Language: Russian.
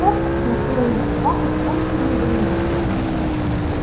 скотт смотрел на собаку в полном недоумении